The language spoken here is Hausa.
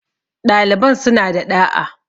ɗaliban sun a da ɗa'a